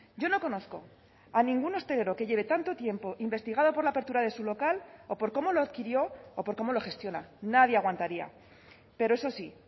yo no conozco a ningún hostelero que lleve tanto tiempo investigado por la apertura de su local o por cómo lo adquirió o por cómo lo gestiona nadie aguantaría pero eso sí